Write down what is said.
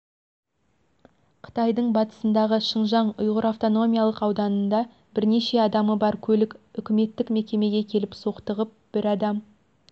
қытайдың батысындағы шыңжаң ұйғыр автономиялық ауданында бірнеше адамы бар көлік үкіметтік мекемеге келіп соқтығып бір адам